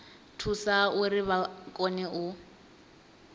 thusa uri vha kone u